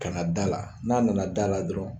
Kana dala la n'a nana dala la dɔrɔn